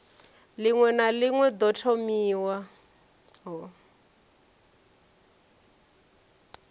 ḽiṅwe na ḽiṅwe ḓo thomiwaho